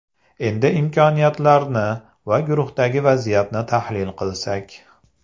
Endi imkoniyatlarni va guruhdagi vaziyatni tahlil qilsak.